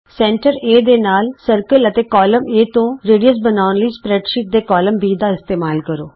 ਕੇਂਦਰ A ਦੇ ਨਾਲ ਗੋਲ ਦਾਇਰਾ ਅਤੇ ਕਾਲਮ A ਤੋਂ ਅਰਧ ਵਿਆਸ ਬਣਾਉਣ ਲਈ ਸਪਰੈਡਸ਼ੀਟ ਦੇ ਕਾਲਮ B ਦਾ ਇਸਤੇਮਾਲ ਕਰੋ